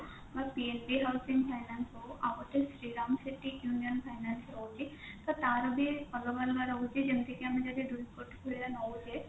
ବା housing finance ହଉ ଆଉ ଗୋଟେ city union finance ରହୁଛି ତ ତାର ବି ଅଲଗା ଅଲଗା ରହୁଛି ଯେମତି କି ଆମେ ଯଦି ଦୁଇ କୋଟି ଭଳିଆ ନଉଛେ